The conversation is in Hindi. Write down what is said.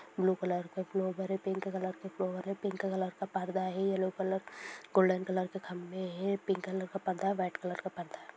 ब्लू कलर के फ्लॉवर है पिंक कलर के फ्लॉवर है पिंक कलर का पर्दा है येलो कलर गोल्डेन कलर के खंभे है पिंक कलर का पर्दा है व्हाइट कलर का पर्दा है।